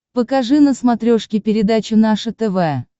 покажи на смотрешке передачу наше тв